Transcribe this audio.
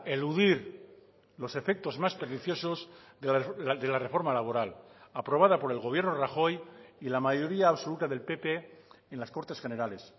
eludir los efectos más perniciosos de la reforma laboral aprobada por el gobierno rajoy y la mayoría absoluta del pp en las cortes generales